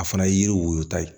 A fana ye yiri woyota ye